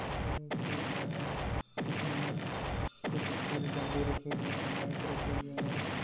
ये स्टेज बने हुए है इसमें कुछ फूल गमले रखें गए माइक रखें हुए है ।